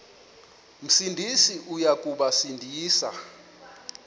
sindisi uya kubasindisa